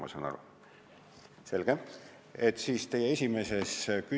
Kas ma saan õigesti aru?